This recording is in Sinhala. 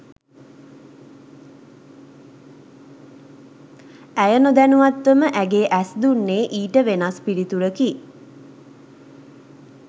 ඇය නොදැනුවත්වම ඇගේ ඇස් දුන්නේ ඊට වෙනස් පිළිතුරකි